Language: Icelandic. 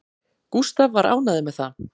Gústaf var ánægður með það